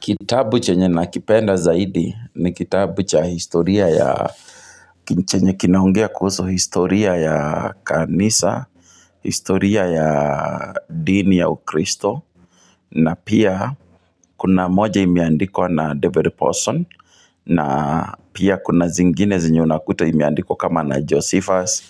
Kitabu chenye nakipenda zaidi ni kitabu cha historia ya chenye kinaongea kuhusu historia ya kanisa historia ya dini ya ukristo na pia kuna moja imeandikwa na David Paulson na pia kuna zingine zenye unakuta imeandikwa kama na Josephus